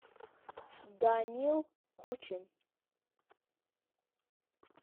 данил кучин